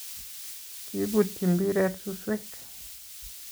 Kibutyi mbiret suswek